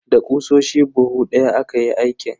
Da ƙusoshi buhu daya aka yi aikin.